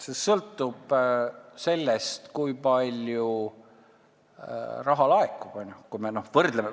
See sõltub sellest, kui palju raha laekub.